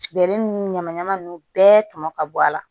Bɛlɛ ninnu ɲamanɲaman ninnu bɛɛ tɔmɔ ka bɔ a la